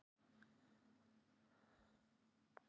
Viðkvæmur búsmali þarf skjól fyrir hreti